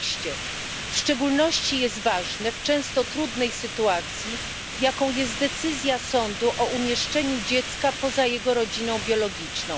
Jest to szczególnie ważne w często trudnej sytuacji, jaką jest decyzja sądu o umieszczeniu dziecka poza jego rodziną biologiczną.